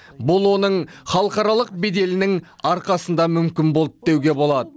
бұл оның халықаралық беделінің арқасында мүмкін болды деуге болады